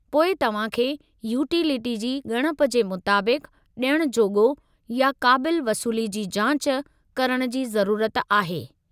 पोइ तव्हां खे यूटिलिटी जी ॻणप जे मुताबिक़ु ॾियणु जोॻो या क़ाबिल वसूली जी जांच करणु जी ज़रुरत आहे।